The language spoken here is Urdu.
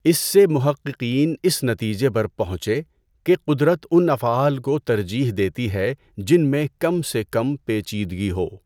اس سے محققین اس نتیجے پر پہنچے کہ قدرت اُن افعال کو ترجیح دیتی ہے جن میں کم سے کم پیچیدگی ہو۔